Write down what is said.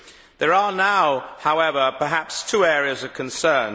There are now, however, perhaps two areas of concern.